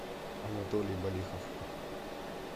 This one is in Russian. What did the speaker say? анатолий болихов